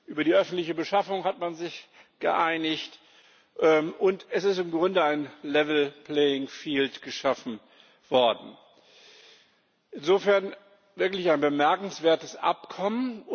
Über die öffentliche Beschaffung hat man sich geeinigt, und es ist im Grunde ein geschaffen worden. Insofern wirklich ein bemerkenswertes Abkommen.